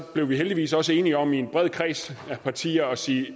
blev vi heldigvis også enige om i en bred kreds af partier at sige